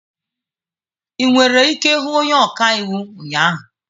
I nwere ike hụ onye ọka iwu ụnyahụ.